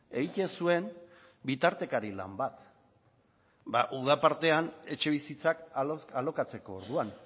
egiten zuen bitartekari lan bat uda partean etxebizitzak alokatzeko orduan